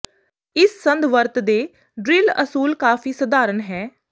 ਇਸ ਸੰਦ ਵਰਤ ਦੇ ਡਰਿਲ ਅਸੂਲ ਕਾਫ਼ੀ ਸਧਾਰਨ ਹੈ